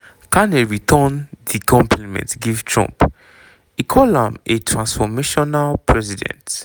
carney return di compliment give trump e call am a "transformational president".